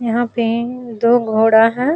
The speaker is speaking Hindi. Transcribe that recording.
यहाँ पे दो घोड़ा है।